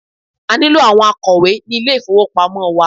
A nílò àwọn akọ̀wé ní ilé ìfowópamọ́ wa.